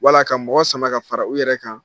Wala ka mɔgɔ sama ka fara i yɛrɛ kan.